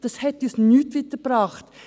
Dies brachte uns nicht weiter.